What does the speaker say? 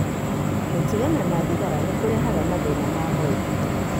Gũtigana na thigara nĩ kũrehaga mathĩna ma mwĩrĩ.